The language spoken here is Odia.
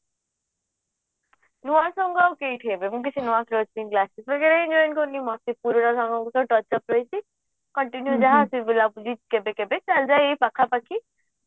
ନୂଆ ସାଙ୍ଗ ଆଉ କେଇଠି ହେବେ ରହିଛି continue ଯାହା ଅଛି କେବେ କେବେ ଚାଲିଯାଏ ଏଇ ପାଖା ପାଖି